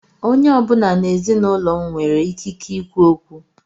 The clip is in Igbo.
Onye ọ bụla n'ezinaụlọ m nwere ikike ikwu okwu.